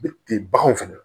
baganw fɛnɛ